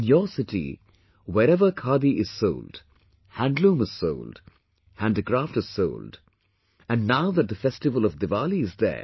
In your city wherever khadi is sold, handloom is sold, handicraft is sold and now that the festival of Diwali is there